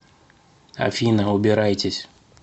афина убирайтесь